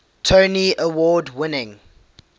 tony award winning